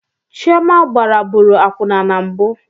Chioma gbaraburu akwụna na mbụ